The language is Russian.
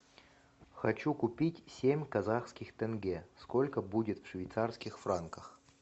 хочу купить семь казахских тенге сколько будет в швейцарских франках